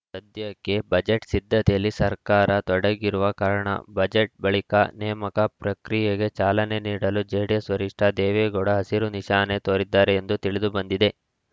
ಸದ್ಯಕ್ಕೆ ಬಜೆಟ್‌ ಸಿದ್ಧತೆಯಲ್ಲಿ ಸರ್ಕಾರ ತೊಡಗಿರುವ ಕಾರಣ ಬಜೆಟ್‌ ಬಳಿಕ ನೇಮಕ ಪ್ರಕ್ರಿಯೆಗೆ ಚಾಲನೆ ನೀಡಲು ಜೆಡಿಎಸ್‌ ವರಿಷ್ಠ ದೇವೇಗೌಡ ಹಸಿರು ನಿಶಾನೆ ತೋರಿದ್ದಾರೆ ಎಂದು ತಿಳಿದು ಬಂದಿದೆ